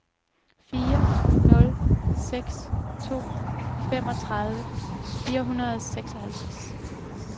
fire nul seks to femogtredive fire hundrede og seksoghalvtreds